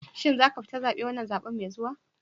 Shin za ka fita zaben wannan zabe mai zuwa?